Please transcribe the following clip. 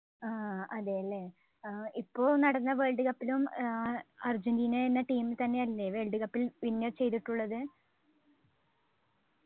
ആഹ് അതെല്ലേ ഏർ ഇപ്പോൾ നടന്ന Worldcup ലും ആഹ് അർജൻറ്റീന എന്ന team തന്നെയല്ലേ Worldcup ൽ win ചെയ്തിട്ടുള്ളത്